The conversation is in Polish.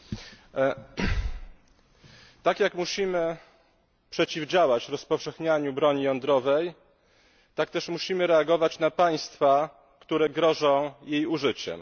Panie Przewodniczący! Tak jak musimy przeciwdziałać rozpowszechnianiu broni jądrowej, tak też musimy reagować na państwa, które grożą jej użyciem.